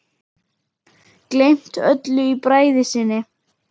Gleymt öllu í bræði sinni.